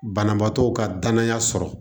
Banabaatɔw ka danaya sɔrɔ